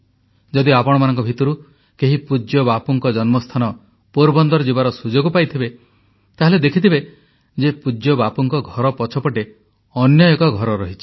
ଯଦି ଆପଣମାନଙ୍କ ଭିତରୁ କେହି ପୂଜ୍ୟ ବାପୁଙ୍କ ଜନ୍ମସ୍ଥାନ ପୋରବନ୍ଦର ଯିବାର ସୁଯୋଗ ପାଇଥିବେ ତାହେଲେ ଦେଖିଥିବେ ଯେ ପୂଜ୍ୟ ବାପୁଙ୍କ ଘର ପଛପଟେ ଅନ୍ୟ ଏକ ଘର ରହିଛି